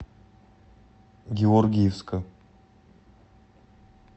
георгиевска